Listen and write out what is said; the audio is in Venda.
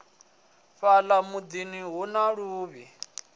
fhala mudini hu na luvhi